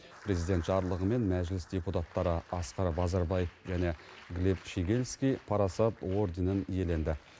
президент жарлығымен мәжіліс депутаттары асқар базарбаев және глеб щегельский парасат орденін иеленді